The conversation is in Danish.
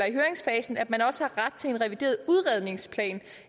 i høringsfasen at man også har ret til en revideret udredningsplan